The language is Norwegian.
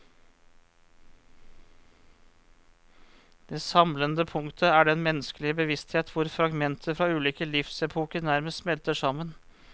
Det samlende punktet er den menneskelige bevissthet hvor fragmenter fra ulike livsepoker nærmest smelter sammen.